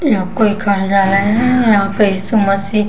यहाँ कोई कर जा रहे हैं यहाँ पे यीशु मसीह --